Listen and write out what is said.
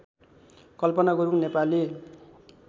Kalpana Gurung Nepali